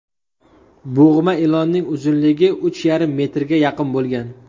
Bo‘g‘ma ilonning uzunligi uch yarim metrga yaqin bo‘lgan.